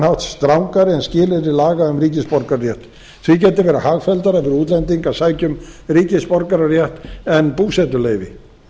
hátt strangari en skilyrði laga um ríkisborgararétt því geti verið hagfelldara fyrir útlending að sækja um ríkisborgararétt en búsetuleyfi